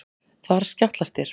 Þar skjátlast þér.